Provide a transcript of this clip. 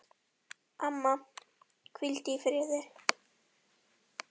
Amma, hvíldu í friði.